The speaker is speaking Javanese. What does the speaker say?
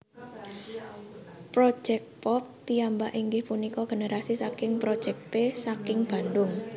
Projéct Pop piyambak inggih punika generasi saking Project P saking Bandung